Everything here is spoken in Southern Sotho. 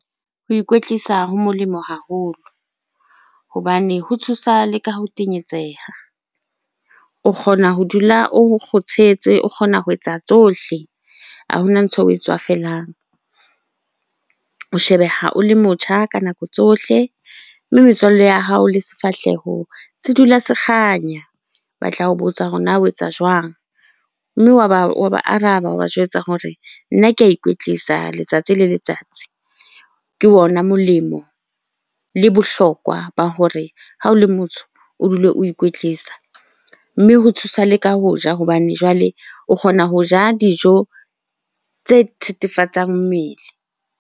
Ho ikwetlisa ho molemo haholo hobane ho thusa le ka ho tenyetseha. O kgona ho dula o kgothetse, o kgona ho etsa tsohle ha hona ntho eo oe tswafelang. O shebeha o le motjha ka nako tsohle, mme metswalle ya hao le sefahleho se dula se kganya. Batla ho botsa hore na ho etsa jwang? Mme wa ba araba, wa ba jwetsa hore nna ke a ikwetlisa letsatsi le letsatsi. Ke ona molemo le bohlokwa ba hore ha o le motho o dule o ikwetlisa. Mme ho thusa le ka ho ja hobane jwale o kgona ho ja dijo tse thethefatsing mmele.